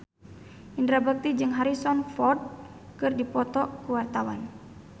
Indra Bekti jeung Harrison Ford keur dipoto ku wartawan